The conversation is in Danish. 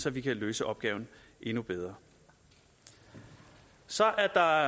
at vi kan løse opgaven endnu bedre så er der